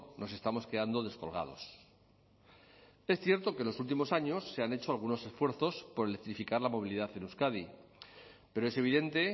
nos estamos quedando descolgados es cierto que en los últimos años se han hecho algunos esfuerzos por electrificar la movilidad en euskadi pero es evidente